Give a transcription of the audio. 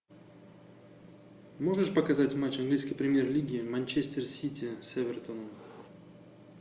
можешь показать матч английской премьер лиги манчестер сити с эвертоном